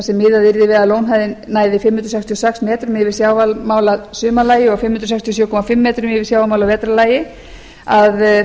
yrði við að lónhæðin næði fimm hundruð sextíu og sex metrum yfir sjávarmáli að sumarlagi og fimm hundruð sextíu og sjö og hálft yfir sjávarmáli að vetrarlagi